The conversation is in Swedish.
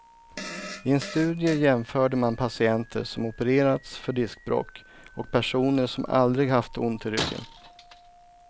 I en studie jämförde man patienter som opererats för diskbråck och personer som aldrig haft ont i ryggen.